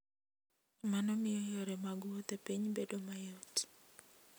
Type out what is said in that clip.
Mano miyo yore mag wuoth e piny bedo mayot.